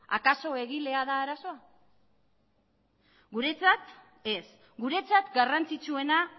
akaso egilea da arazoa guretzat ez guretzat garrantzitsuena